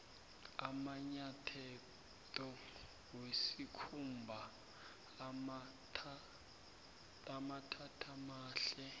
amanyatheto wesikhumba amambatatamahle